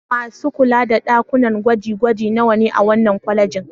Masu kula da ɗakunan gwaje-gwaje nawa ne a wannan kwalejin?